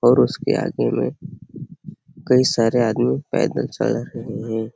और उसके आगे में कई सारे आदमी पैदल जा रहे है।